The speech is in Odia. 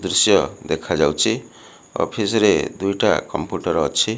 ଦୃଶ୍ୟ ଦେଖାଯାଉଚି ଅଫିସି ରେ ଦୁଇଟା କମ୍ପୁଟର ଅଛି।